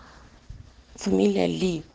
фамилия ли